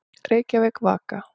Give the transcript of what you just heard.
Reykjavík, Vaka.